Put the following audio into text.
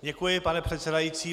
Děkuji, pane předsedající.